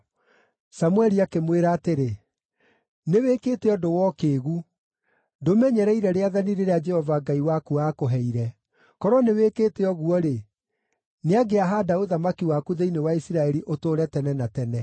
Samũeli akĩmwĩra atĩrĩ, “Nĩwĩkĩte ũndũ wa ũkĩĩgu. Ndũmenyereire rĩathani rĩrĩa Jehova Ngai waku aakũheire; korwo nĩwĩkĩte ũguo-rĩ, nĩangĩahaanda ũthamaki waku thĩinĩ wa Isiraeli ũtũũre tene na tene.